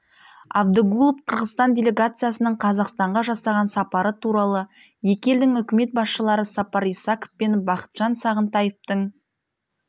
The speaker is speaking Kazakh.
абдыгулов қырғызстан делегациясының қазақстанға жасаған сапары туралы екі елдің үкімет басшылары сапар исаков пен бақытжан сағынтаевтың